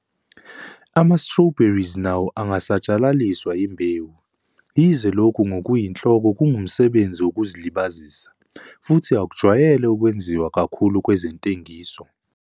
Ama-Strawberries nawo angasatshalaliswa yimbewu, yize lokhu ngokuyinhloko kungumsebenzi wokuzilibazisa, futhi akujwayele ukwenziwa kakhulu kwezentengiso.